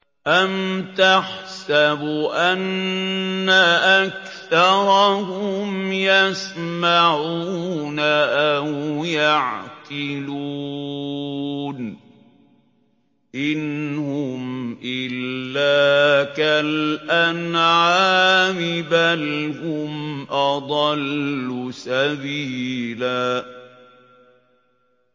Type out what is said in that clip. أَمْ تَحْسَبُ أَنَّ أَكْثَرَهُمْ يَسْمَعُونَ أَوْ يَعْقِلُونَ ۚ إِنْ هُمْ إِلَّا كَالْأَنْعَامِ ۖ بَلْ هُمْ أَضَلُّ سَبِيلًا